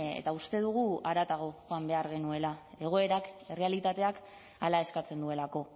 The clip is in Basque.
eta uste dugu haratago joan behar genuela egoerak errealitateak hala eskatzen duelako